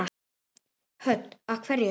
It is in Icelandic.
Hödd: Af hverju?